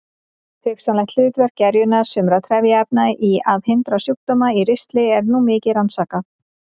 Hugsanlegt hlutverk gerjunar sumra trefjaefna í að hindra sjúkdóma í ristli er nú mikið rannsakað.